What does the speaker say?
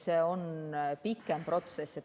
See on pikem protsess.